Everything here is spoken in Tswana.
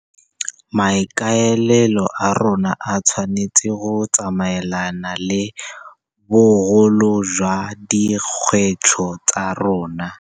Maikaelelo a rona a tshwanetse go tsamaelana le bogolo jwa dikgwetlho tsa rona.